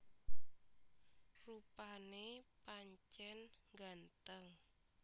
Rupané pancèn nggantheng